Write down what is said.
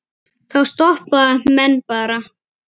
Þá stoppa menn bara.